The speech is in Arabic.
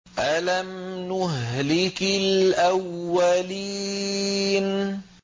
أَلَمْ نُهْلِكِ الْأَوَّلِينَ